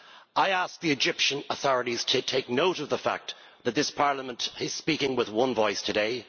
I ask the Egyptian authorities to take note of the fact that this Parliament is speaking with one voice today.